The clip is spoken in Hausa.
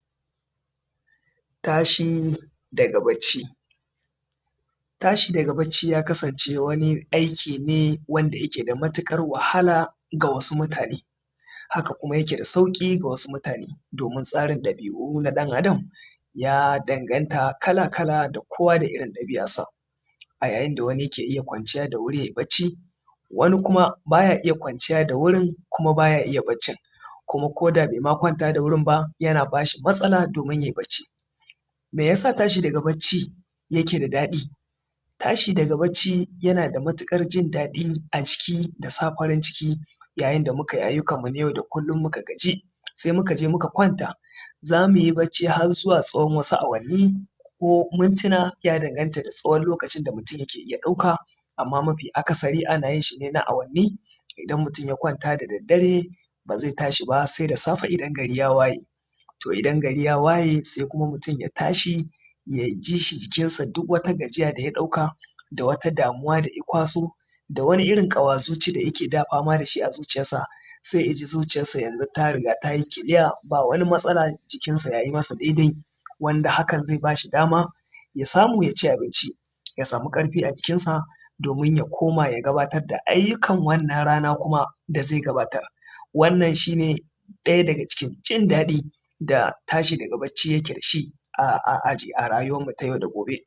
tashi daga bacci tashi daga bacci ya kasance wani aiki ne wanda yake da matuƙar wahala ga wasu mutane haka kuma yake da sauƙi ga wasu mutane domin tsarin ɗabi’u na ɗan adam ya danganta kala-kala da da kowa da irin ɗabi’ar sa a yayin dawani yake iya kwanciya da wuri yayi bacci wani kuma baya iya kwanciya wurin kuma baya iya baccin kuma koda bai ma kwanta da wurin ba yana bashi matsala domin yayi baccin meyasa tashi daga bacci yake da daɗi tashi daga bacci yana da matuƙar jin daɗi ajiki da sa farin ciki yayin da mukayi ayyukan mu na yau da kullum muka gaji sai muka je muka kwanta zamuyi bacci har zuwa tsawon wasu awanni ko mintuna ya danganta da tsawon lokacin da mutum yake iya ɗauka amman mafi akasari ana yin shi ne na awanni idan mutum ya kwanta da daddare bazai tashi ba sai da safe idan gari ya waye to idan gari ya waye sai kuma mutum ya tashi ya ji shi jikin sa duk wata gajiya daya ɗauka da wata damuwa da ya kwaso dawani irin ƙawa zuci da yake da fama dashi a zuciyar sa sai yaji zuciyarsa yanzu ta riga tayi clear ba wani matsala jikin sa yayi masa daidai wanda hakan zai bashi dama samu ya ci abinci ya samu ƙarfi ajikin sa domin ya koma ya gabatar da ayyukan wannan rana kuma da zai gabatar wannan shine ɗaya daga cikin jindaɗi da tashi daga bacci yake dashi a rayuwar